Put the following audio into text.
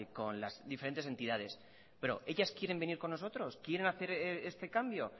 con las diferentes entidades pero ellas quieren venir con nosotros quieren hacer este cambio